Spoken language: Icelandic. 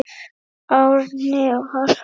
Árni og Harpa.